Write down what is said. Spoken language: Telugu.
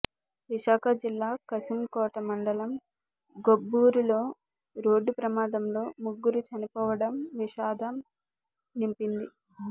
విశాఖ జిల్లా కశింకోట మండలం గొబ్బూరులో రోడ్డు ప్రమాదంలో ముగ్గురు చనిపోవడం విషాదం నింపింది